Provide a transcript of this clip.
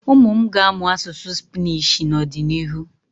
Ụmụ m ga-amụ asụsụ Spnishị n'ọdịnihu.